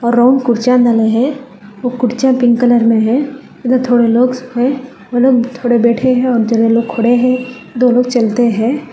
Brown कुर्सियां मले हैं वो कुर्सियां पिंक कलर में है इधर थोड़े लोग सोफे हैं उधर थोड़े बैठे हैं बैठे हैं और दो लोग खड़े हैं और दो लोग चलते हैं।